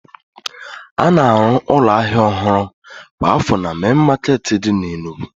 A na-arụ ụlọ ahịa ọhụrụ kwa afọ na mein maketi di na Enugu